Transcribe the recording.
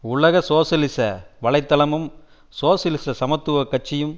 உலக சோசியலிச வலை தளமும் சோசியலிச சமத்துவ கட்சியும்